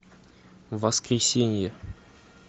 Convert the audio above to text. воскресенье